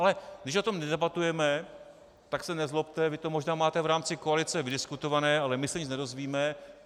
Ale když o tom nedebatujeme, tak se nezlobte, vy to možná máte v rámci koalice vydiskutované, ale my se nic nedozvíme.